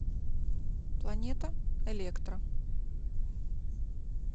планета электро